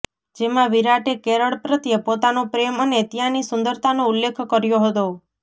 જેમાં વિરાટે કેરળ પ્રત્યે પોતાનો પ્રેમ અને ત્યાંની સુંદરતાનો ઉલ્લેખ કર્યો હતો